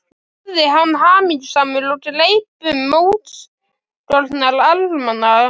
spurði hann hamingjusamur og greip um útskorna armana.